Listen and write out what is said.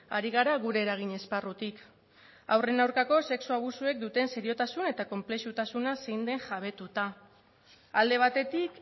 ari gara gure eragin esparrutik haurren aurkako sexu abusuek duten seriotasun eta konplexutasuna zein den jabetuta alde batetik